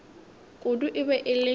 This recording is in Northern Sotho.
kudu e be e le